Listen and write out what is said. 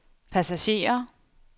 passagerer